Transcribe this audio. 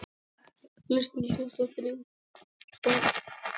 Elsku besta amma Hanna mín.